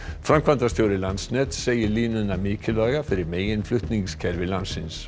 framkvæmdastjóri Landsnets segir línuna mikilvæga fyrir meginflutningskerfi landsins